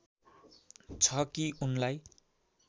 छ कि उनलाई